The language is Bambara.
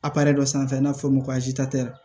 dɔ sanfɛ n'a bɛ f'o ma ko